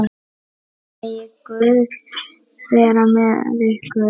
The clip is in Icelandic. Megi Guð vera með ykkur.